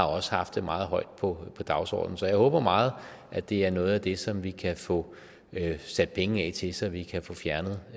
også har haft det meget højt på dagsordenen så jeg håber meget at det er noget af det som vi kan få sat penge af til så vi kan få fjernet